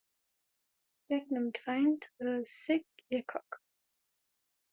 Gegnum grænt rör sýg ég kók.